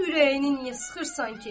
Bəs ürəyini niyə sıxırsan ki?